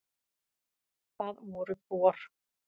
Það voru Bor.